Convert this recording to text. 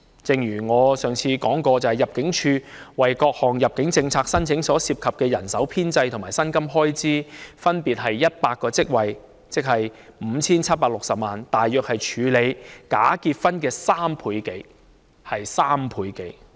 正如我上次說過，入境處為處理各項入境政策下的申請所需的人手和薪金開支，分別是100個職位及 5,760 萬元，即大約是處理假結婚的人手及開支的3倍多。